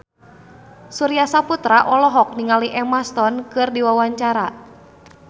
Surya Saputra olohok ningali Emma Stone keur diwawancara